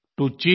to cheat